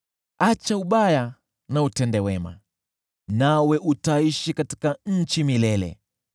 Acha ubaya na utende wema, nawe utaishi katika nchi milele.